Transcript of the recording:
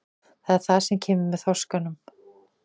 Það er það sem kemur með þroskanum.